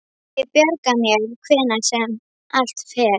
Ég bjarga mér hvernig sem allt fer.